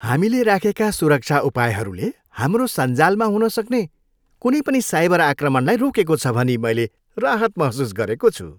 हामीले राखेका सुरक्षा उपायहरूले हाम्रो सञ्जालमा हुनसक्ने कुनै पनि साइबर आक्रमणलाई रोकेको छ भनी मैले राहत महसुस गरेको छु।